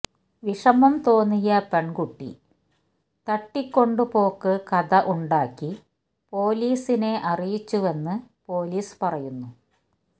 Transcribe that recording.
വിഷമം തോന്നിയ പെണ്കുട്ടി തട്ടിക്കൊണ്ട് പോക്ക് കഥ ഉണ്ടാക്കി പോലീസിനെ അറിയിച്ചുവെന്ന് പോലീസ് പറയുന്നു